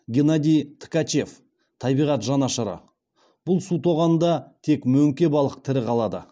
геннадий ткачев табиғат жанашыры бұл су тоғанында тек мөңке балық тірі қалады